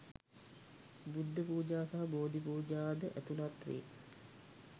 බුද්ධ පූජා සහ බෝධි පූජා ද ඇතුළත් වේ.